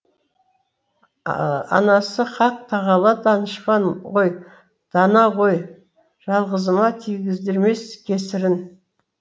анасы қақ тағала данышпан ғой дана ғой жалғызыма тигіздірмес кесірін